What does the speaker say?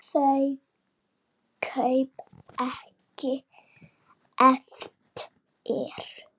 Þau kaup gengu ekki eftir.